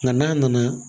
Nka n'a nana